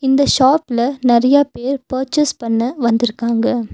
இந்த ஷாப் ல நெறையா பேர் பர்ச்சேஸ் பண்ண வந்துருக்காங்க.